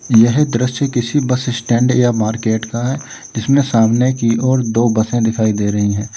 यह दृश्य किसी बस स्टैंड या मार्केट का है जिसमें सामने की ओर दो बसे दिखाई दे रही हैं।